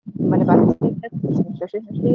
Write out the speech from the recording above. মানে বাচাকে দেখো সব